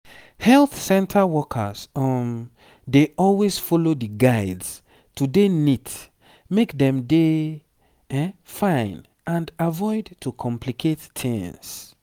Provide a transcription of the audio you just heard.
health center workers um dey always follow di guides to dey neat make dem dey fine and avoid to complicate tings